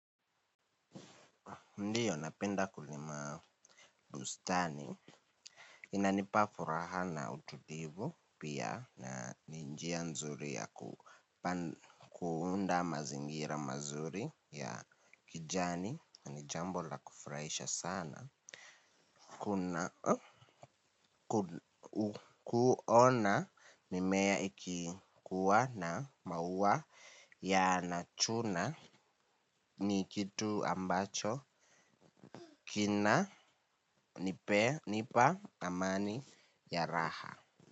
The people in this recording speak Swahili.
Ndio napenda kulima bustani. Inanipa furaha na utulivu pia na ni njia nzuri ya kuunda mazingira mazuri ya kijani. Ni jambo la kufurahisha sana kuona mimea ikikuwa na maua yanachuna ni kitu ambacho kinanipa amani ya raha.